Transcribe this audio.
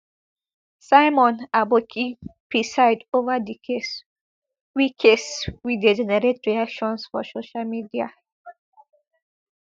simon aboki preside ova di case we case we dey generate reactions for social media